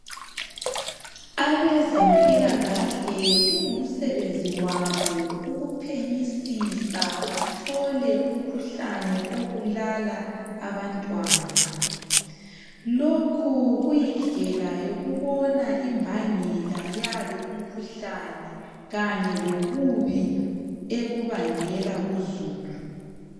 Abezempilkahle kungumsebenzi wabo ukuphenyisisa bathole umkhuhlane obulala abantwana lokhu kuyindlela yokubona imbangela yalo umkhuhlane kanye lobubi ebubangela kuzulu